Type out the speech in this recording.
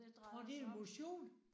Tror det motion?